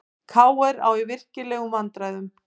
KR á í virkilegum vandræðum